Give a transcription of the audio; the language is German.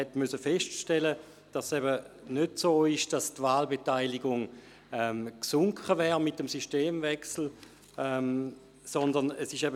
Er musste feststellen, dass es eben nicht so ist, dass die Wahlbeteiligung mit dem Systemwechsel gesunken wäre.